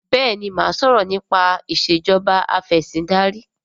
béèni má sọrọ nipa Ìṣèjọba Afẹ̀sìndarí.